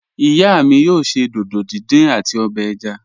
Iya mi yoo ṣe dídò díndín ati obè ẹ̀já.